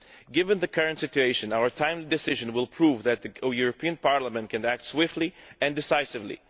Given the current situation, our timely decision will prove that the European Parliament can act swiftly and decisively.